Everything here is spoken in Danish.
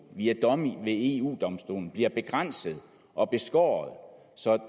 via domme ved eu domstolen bliver begrænset og beskåret så